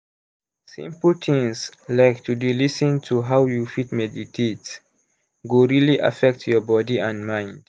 simple things like to d lis ten to how you fit meditate go really affect your body and mind.